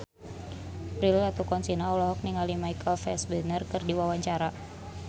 Prilly Latuconsina olohok ningali Michael Fassbender keur diwawancara